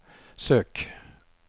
søk